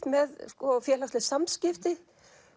með félagsleg samskipti